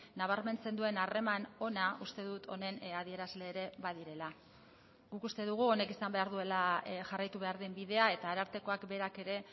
nabarmentzen duen harreman ona uste dut honen adierazle ere badirela guk uste dugu honek izan behar duela jarraitu behar den bidea eta arartekoak berak ere